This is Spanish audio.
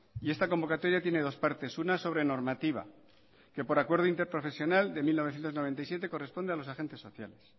y esta convocatoria tiene dos partes una sobre normativa que por acuerdo interprofesional de mil novecientos noventa y siete corresponde a los agentes sociales